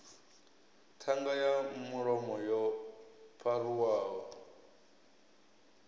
ṱhanga ya mulomo yo pharuwaho